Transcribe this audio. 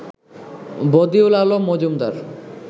Badiul Alam Majumdar